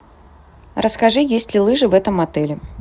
расскажи есть ли лыжи в этом отеле